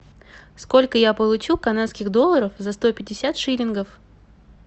сколько я получу канадских долларов за сто пятьдесят шиллингов